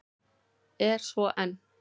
Er svo enn.